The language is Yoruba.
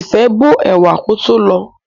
Ìfẹ́ bó ẹ̀wà kótó lọ̀ọ́.